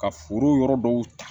Ka foro yɔrɔ dɔw ta